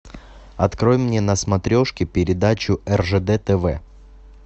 открой мне на смотрешке передачу ржд тв